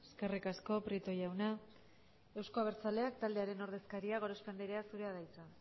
eskerrik asko prieto jauna euzko abertzaleak taldearen ordezkaria gorospe anderea zurea da hitza